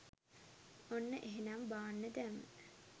ඔන්න එහෙනම් බාන්න දැම්ම